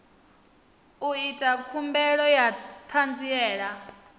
u ita khumbelo ya ṱhanziela